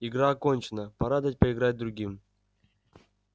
игра окончена пора дать поиграть другим